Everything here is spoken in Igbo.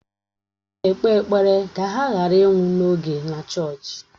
Ha na-ekpe ekpere ka ha ghara ịnwụ n'oge na chọọchị.